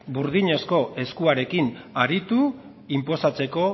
burdinazko eskuarekin aritu inposatzeko